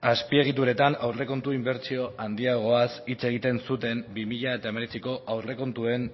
azpiegituretan aurrekontu inbertsio handiagoaz hitz egiten zuten bi mila hemeretziko aurrekontuen